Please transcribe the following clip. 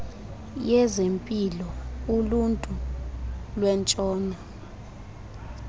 yezempilo uluntu lwentshona